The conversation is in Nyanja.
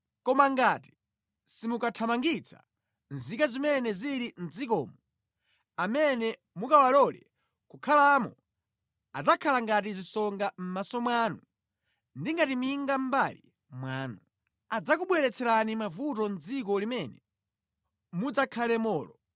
“ ‘Koma ngati simukathamangitsa nzika zimene zili mʼdzikomo, amene mukawalole kukhalamo adzakhala ngati zisonga mʼmaso mwanu ndi ngati minga mʼmbali mwanu. Adzakubweretserani mavuto mʼdziko limene mudzakhalemolo.